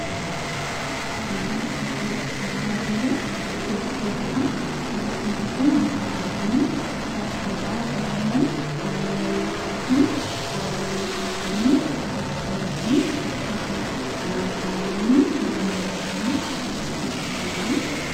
Kan asirratti argaa jirru shubbistootadha. Shubbistoonni kun akkuma arginu, uffata aadaa Oromoo naannoo Wallaggaatiin faayamanii argamu. Shubbistoonni kunis uffata kanaan faayamanii sirba naannoo sanaa shubbisaa jiru.